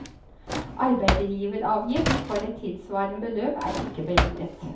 Arbeidsgiveravgift for et tilsvarende beløp er ikke beregnet.